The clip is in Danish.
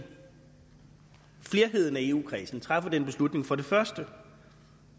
flerheden af eu kredsen træffer den beslutning at for det første